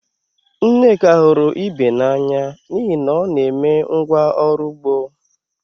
Nneka hụrụ Ibe n'anya n'ihi na ọ na-eme ngwá ọrụ ugbo